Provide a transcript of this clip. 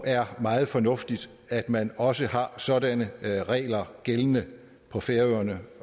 er meget fornuftigt at man også har sådanne regler gældende på færøerne